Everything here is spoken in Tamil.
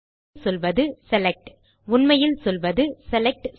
ஆகவே இங்கே நாம் சொல்வது செலக்ட் உண்மையில் சொல்வது செலக்ட்